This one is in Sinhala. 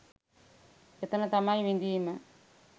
එතන තමයි විඳීම